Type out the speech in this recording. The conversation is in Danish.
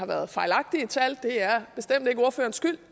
været fejlagtige tal det er bestemt ikke ordførerens skyld